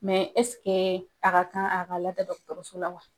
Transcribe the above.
Mɛ ɛseke a ka kan a ka lada dɔgɔtɔrɔso la wa ?